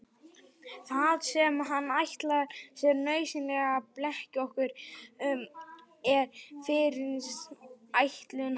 Það sem hann ætlar sér nauðsynlega að blekkja okkur um er fyrirætlun hans.